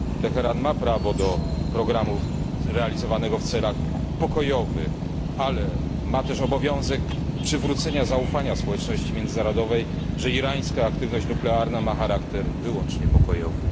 Teheran ma prawo do programu realizowanego w celach pokojowych, ale ma też obowiązek przywrócenia zaufania społeczności międzynarodowej, że irańska aktywność nuklearna ma charakter wyłącznie pokojowy.